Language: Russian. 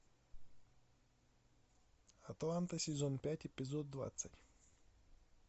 атланта сезон пять эпизод двадцать